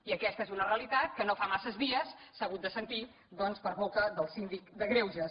i aquesta és una realitat que no fa massa dies s’ha hagut de sentir doncs per boca del síndic de greuges